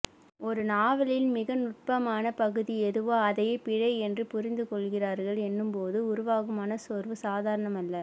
ஒருநாவலின் மிகநுட்பமான பகுதி எதுவோ அதையே பிழை என்று புரிந்துகொள்கிறர்கள் என்னும்போது உருவாகும் மனச்சோர்வு சாதாரணமல்ல